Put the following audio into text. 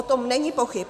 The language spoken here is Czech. O tom není pochyb.